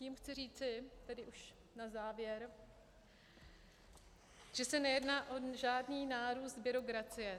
Tím chci říci, tedy už na závěr, že se nejedná o žádný nárůst byrokracie.